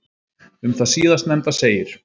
Um það síðastnefnda segir: